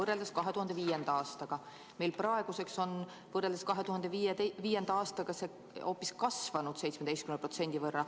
Meil on see praeguseks võrreldes 2005. aastaga hoopis kasvanud 17% võrra.